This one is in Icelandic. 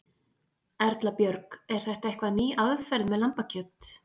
Erla Björg: Er þetta eitthvað ný aðferð með lambakjöt?